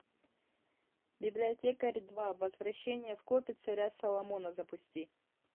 библиотекарь два возвращение в копи царя соломона запусти